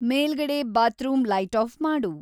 ಮೇಲ್ಗಡೆ bathroom light off ಮಾಡು